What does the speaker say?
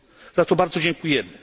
Za to bardzo dziękujemy.